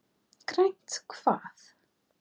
Grænt hvað?